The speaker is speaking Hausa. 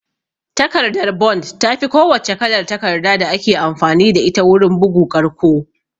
Takardar bond tafi ko wacce kalar takarda da ake amfani da ita wurin bugu ƙarƙo